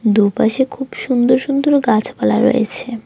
দুপাশে খুব সুন্দর সুন্দর গাছপালা রয়েছে।